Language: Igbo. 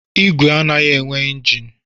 Igwe anaghị enwe njini